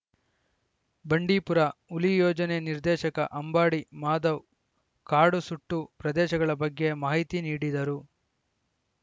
ಬಂಡೀಪುರ ಹುಲಿ ಯೋಜನೆ ನಿರ್ದೇಶಕ ಅಂಬಾಡಿ ಮಾಧವ್‌ ಕಾಡು ಸುಟ್ಟು ಪ್ರದೇಶಗಳ ಬಗ್ಗೆ ಮಾಹಿತಿ ನೀಡಿದರು